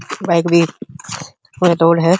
Bike भी थोड़ी दूर है।